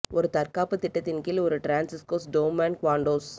ஒரு தற்காப்புத் திட்டத்தின் கீழ் ஒரு டிரான்ஸிஸ் கோஸ் டோம்மேன் குவாண்டோவ்ஸ்